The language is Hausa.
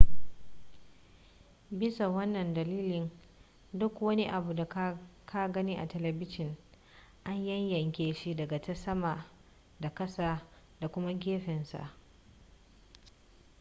bisa wannan dalilin dukkan wani abu da ka gani a telebijin an yanyanke shi daga ta sama da kasa da kuma gefensa